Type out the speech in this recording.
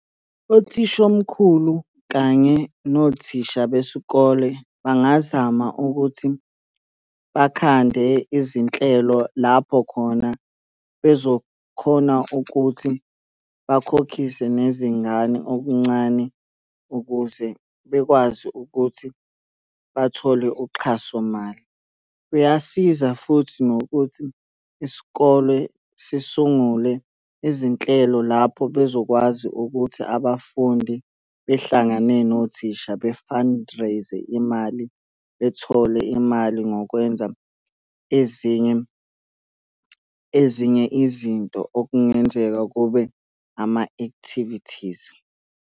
Uthishomkhulu kanye nothisha besikole bangazama ukuthi bakhande izinhlelo lapho khona bezokhona ukuthi bakhokhise nezingane okuncane ukuze bekwazi ukuthi bathole uxhaso mali. Kuyasiza futhi nokuthi isikole sisungule izinhlelo lapho bezokwazi ukuthi abafundi behlangane nothisha be-fundraise-e imali, bethole imali ngokwenza ezinye, ezinye izinto okungenzeka kube ama-activities.